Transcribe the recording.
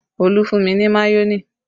Olú fún mi mayonẹ